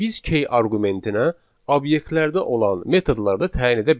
Biz key arqumentinə obyektlərdə olan metodları da təyin edə bilərik.